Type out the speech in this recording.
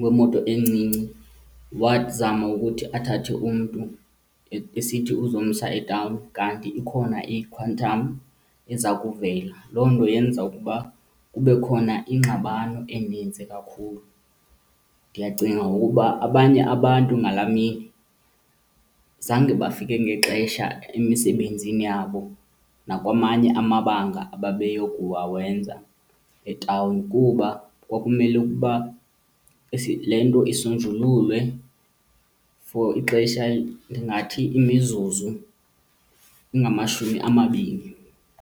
wemoto encinci wazama ukuthi athathe umntu esithi uzomsa etawuni kanti ikhona iQuantum eza kuvela. Loo nto yenza ukuba kube khona ingxabano enintsi kakhulu. Ndiyacinga ngoku ukuba abanye abantu ngalaa mini zange bafike ngexesha emisebenzini yabo nakwamanye amabanga ababeyokuwawenza etawuni kuba kwakumele ukuba le nto isonjululwe for ixesha, ndingathi imizuzu engamashumi amabini.